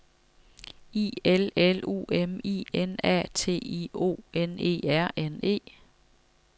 I L L U M I N A T I O N E R N E